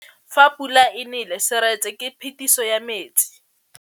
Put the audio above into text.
Fa pula e nelê serêtsê ke phêdisô ya metsi.